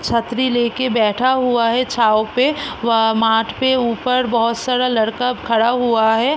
छतरी ले के बैठा हुआ है छाँव पे व माठ के ऊपर बहोत सारा लड़का खड़ा हुआ है।